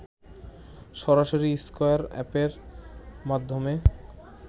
সরাসরি স্কয়ার অ্যাপের মাধ্যমে